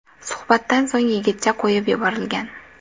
Suhbatdan so‘ng yigitcha qo‘yib yuborilgan.